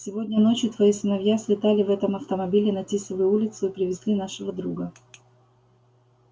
сегодня ночью твои сыновья слетали в этом автомобиле на тисовую улицу и привезли нашего друга